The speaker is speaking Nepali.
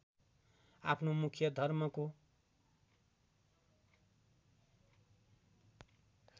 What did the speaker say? आफ्नो मुख्य धर्मको